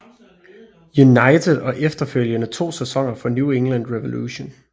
United og efterfølgende to sæsoner for New England Revolution